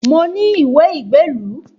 Mo ní ìwé ìgbélu